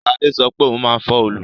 Sade sọ pé òun máa fọ́ òòlù